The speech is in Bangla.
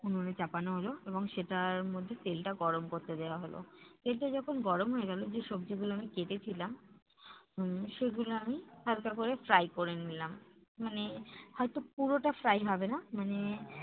উনুনে চাপানো হলো এবং সেটার মধ্যে তেলটা গরম করতে দেওয়া হলো। তেলটা যখন গরম হয়ে গেলো যে সবজিগুলো আমি কেটেছিলাম উম সেগুলো আমি হালকা করে fry করে নিলাম। মানে হয়তো পুরোটা fry হবে না মানে